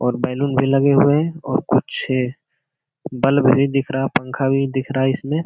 और बैलून भी लगे हुए है और कुछ बल्ब भी दिख रहा है पंखा भी दिख रहा है इसमें।